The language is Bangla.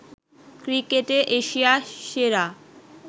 ক্রিকেটে এশিয়া সেরা